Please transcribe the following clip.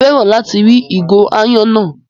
Mà á fẹ́ràn láti rí ìgò aáyán náà.